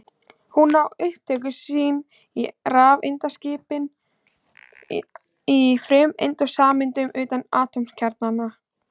Hún á upptök sín í rafeindaskipan í frumeindum og sameindum utan atómkjarnans.